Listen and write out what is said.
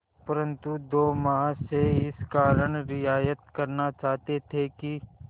परंतु दो महाशय इस कारण रियायत करना चाहते थे कि